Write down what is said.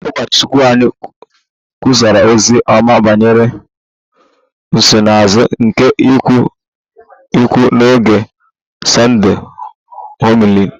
Ụkọchukwu anyị kwusara ozi ọma banyere nsonaazụ nke ịkwa iko n'oge Sunday homily